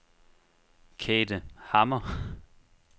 Kate Hammer